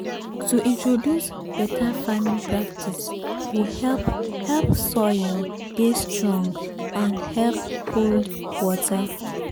to introduce better farming practice go help help soil dey strong and help hold water.